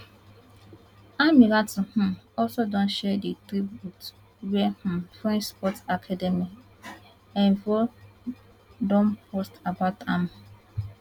ammirati um also don share di tribute wia um french sports academy envol don post about am